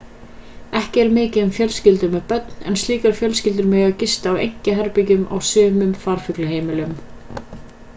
ekki er mikið um fjölskyldur með börn en slíkar fjölskyldur mega gista á einkaherbergjum á sumum farfuglaheimilum